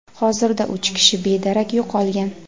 hozirda uch kishi bedarak yo‘qolgan.